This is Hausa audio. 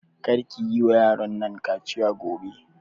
Kar ki yi wa yaron nan kaciya gobe!